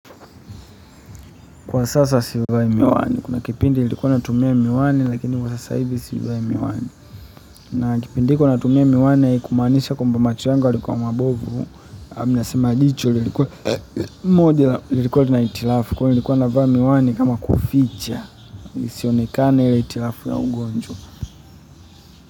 Kwa sasa sivai miwani kuna kipindi nilikuwa natumia miwani lakini kwa sasa hivi sivai miwani na kipindi hiko natumia miwani kumaanisha kwamba macho yangu yalikuwa mabovu ninasema jicho ilikuwa moja lilikuwa lina hitilafu kwani nilikukuwa navaa miwani kama kuficha lisionekane la hitilafu ya ugonjwa.